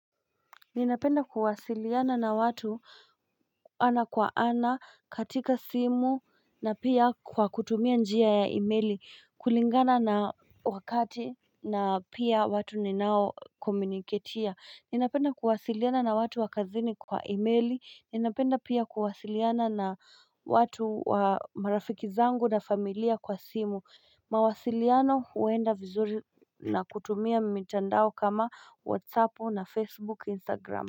Ninapenda kuwasiliana na watu ana kwa ana katika simu na pia kwa kutumia njia ya imeili kulingana na wakati na pia watu ninao komuniketia Ninapenda kuwasiliana na watu wakazini kwa imeili ninapenda pia kuwasiliana na watu wa marafiki zangu na familia kwa simu mawasiliano huenda vizuri na kutumia mitandao kama whatsapu na facebook instagram.